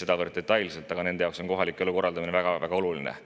sedavõrd detailselt, nende jaoks on just kohaliku elu korraldamine väga-väga oluline.